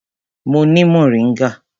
Mo ni moringa.